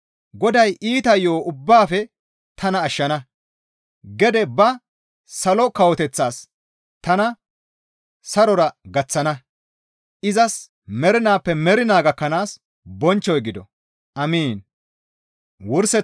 Goday iita yo7o ubbaafe tana ashshana; gede ba salo kawoteththas tana sarora gaththana; izas mernaappe mernaa gakkanaas bonchchoy gido. Amiin.